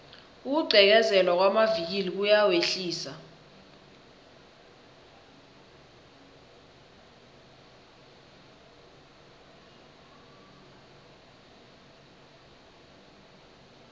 ukugqekezelwa kwamavikili kuyawehlisa